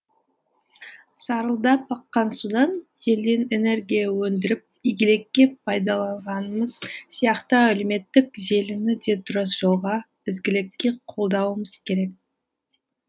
сарылдап аққан судан желден энергия өндіріп игілікке пайдаланғанымыз сияқты әлеуметтік желіні де дұрыс жолға ізгілікке қолдауымыз керек